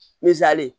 Nizali